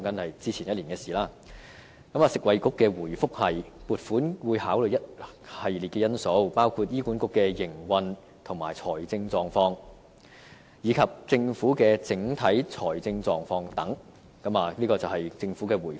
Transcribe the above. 食物及衞生局的回覆是撥款會考慮一系列因素，包括醫管局的營運和財政狀況，以及政府的整體財政狀況等，這便是政府的回覆。